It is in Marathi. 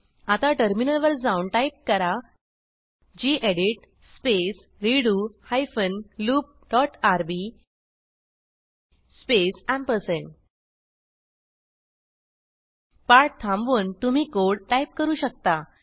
आता टर्मिनल वर जाऊन टाईप करा gedit space redo hyphen loop dot RB space पाठ थांबवून तुम्ही कोड टाईप करू शकता